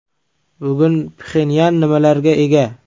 Bugun Pxenyan nimalarga ega?